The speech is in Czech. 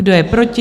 Kdo je proti?